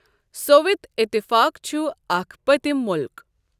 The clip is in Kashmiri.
صؤوِت اِتِفاق چُھ اَکھ پٔتِم مُلک۔